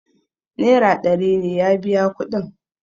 naira ɗari ne ya biya kudin